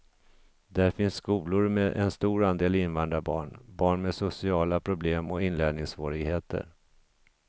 Där finns skolor med en stor andel invandrarbarn, barn med sociala problem och inlärningssvårigheter.